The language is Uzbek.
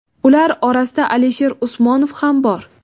Ular orasida Alisher Usmonov ham bor.